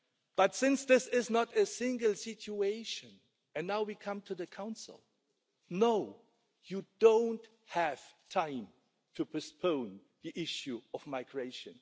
But since this is not an isolated situation and now we come to the Council no, you don't have time to postpone the issue of migration.